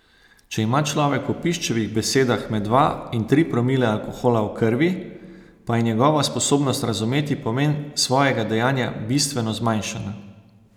Če ima človek po Piščevih besedah med dva in tri promile alkohola v krvi, pa je njegova sposobnost razumeti pomen svojega dejanja bistveno zmanjšana.